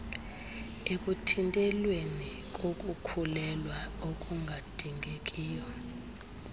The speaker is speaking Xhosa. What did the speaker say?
ekuthintelweni kokukhulelwa okungadingekiyo